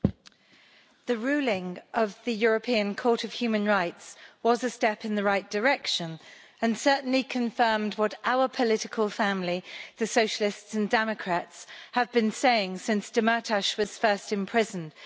Mr President, the ruling of the European Court of Human Rights was a step in the right direction and certainly confirmed what our political family, the Socialists and Democrats, have been saying since Demirtas was first imprisoned.